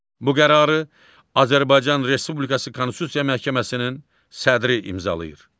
Bu qərarı Azərbaycan Respublikası Konstitusiya Məhkəməsinin sədri imzalayır.